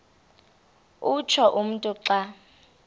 utsho umntu xa